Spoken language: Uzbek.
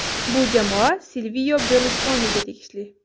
Bu jamoa Silvio Berluskoniga tegishli.